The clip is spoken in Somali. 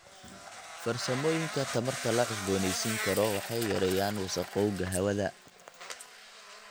Farsamooyinka tamarta la cusboonaysiin karo waxay yareeyaan wasakhowga hawada.